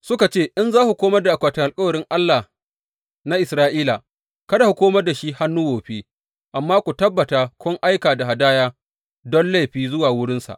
Suka ce, in za ku komar da akwatin alkawarin Allah na Isra’ila kada ku komar da shi hannu wofi; amma ku tabbata kun aika da hadaya don laifi zuwa wurinsa.